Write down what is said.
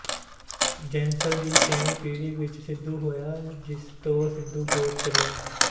ਜੈਸਲ ਦੀ ਛੇਵੀਂ ਪੀੜ੍ਹੀ ਵਿੱਚ ਸਿੱਧੂ ਹੋਇਆ ਜਿਸ ਤੋਂ ਸਿੱਧੂ ਗੋਤ ਚੱਲਿਆ